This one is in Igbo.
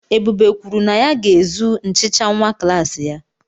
Ebube kwuru na ya ga-ezu nchicha nwa klassị ya.